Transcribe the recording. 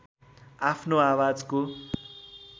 आफ्नो आवाजको